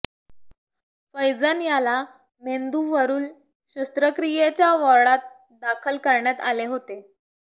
फैजन याला मेंदूवरूल शस्त्रक्रियेच्या वॉर्डात दाखल करण्यात आले होते